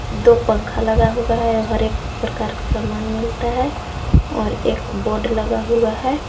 दो पंखा लगा हुआ है हर एक प्रकार का सामान मिलता है और एक बोर्ड लगा हुआ है।